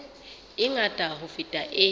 e ngata ho feta e